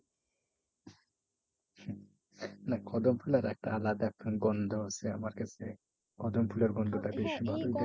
একটা কদমফুল আর একটা আলাদা একখানা গন্ধ আছে আমার কাছে। কদমফুলের গন্ধটা